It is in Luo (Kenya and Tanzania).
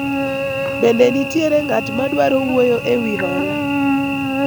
bende nitiere ng'at madwaro wuoyo ewi hola ?